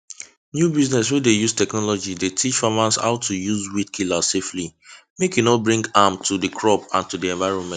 new business wey de use technology de teach farmers how to use weed killer safely make e no bring harm to crop and de environment